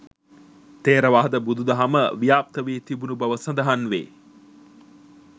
ථෙරවාද බුදුදහම ව්‍යාප්ත වී තිබුණු බව සඳහන් වේ